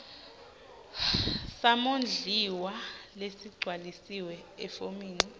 samondliwa lesigcwalisiwe efomini